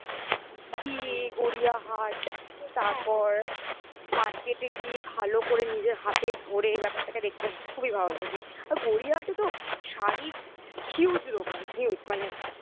গিয়ে গড়িয়াহাট তারপর market এ গিয়ে ভালো করে নিজের হাতে ধরে ব্যাপারটাকে দেখতে খুবই ভালো লাগে আর গড়িয়াহাটে তো শাড়ির huge দোকান huge মানে